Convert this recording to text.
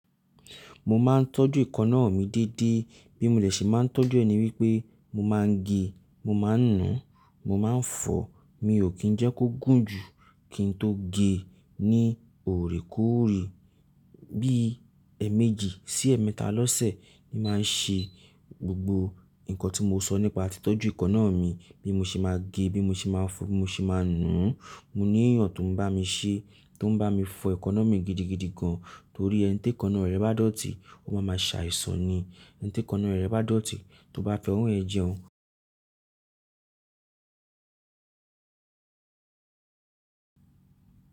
Mo máa ń tọ́jú èkanáà mi dédé bí mo de ṣe máa ń tọ́jú ẹ̀ ni wípé mo máa ń gẹ, mo máa ń nu, mo máa ń fọ. Mi ò kí ń jẹ́ kó gùn jù kí n tó gẹ ní òrèkóòrè. Bí èèmejì sí èèmẹ́tà lọ́sẹ̀ ni màá ń ṣe gbogbo nǹkan tí mo sọ nípa tí tọ́jú èkanáà mi. Bí mo ṣe máa gẹ, bí mo ṣe máa fọ, bí mo ṣe máa nù ún. Mo ní eeyàn tó ń bá mi ṣe, tó ń bá mi fọ èkọ náà mi gidigidi gan. Torí ẹni tí èkọ náà rẹ̀ bá dọ̀tí, ó máa ma ṣe àìsàn ni. Ẹni tí èkanáà rẹ̀ bá dọ̀tí, tó bá fi owo yẹ̀n jẹun.